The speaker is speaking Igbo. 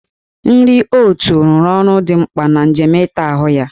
Nri oot rụrụ ọrụ dị mkpa na njem ịta ahụ ya.